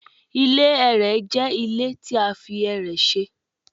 Ile ẹrẹ jẹ ile ti a fi ẹrẹ ṣe